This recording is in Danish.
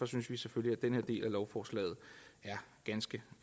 synes vi selvfølgelig at den her del af lovforslaget er ganske